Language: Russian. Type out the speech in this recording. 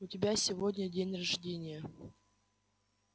у тебя сегодня день рождения